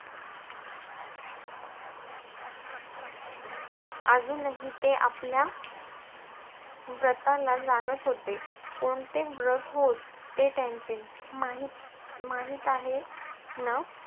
अजूनही ते आपल्या व्रताला जाणत होते. कोणते व्र~ हो~ ते त्यांचे माहित~ माहित आहे ना?